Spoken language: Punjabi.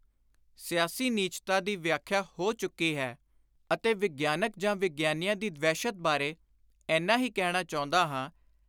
ਸਿਆਸੀ ਨੀਚਤਾ ਦੀ ਵਿਆਖਿਆ ਹੋ ਚੁੱਕੀ ਹੈ ਅਤੇ ਵਿਗਿਆਨਕ ਜਾਂ ਵਿਗਿਆਨੀਆਂ ਦੀ ਵਹਿਸ਼ਤ ਬਾਰੇ ਏਨਾ ਹੀ ਕਹਿਣਾ ਚਾਹੁੰਦਾ ਹਾਂ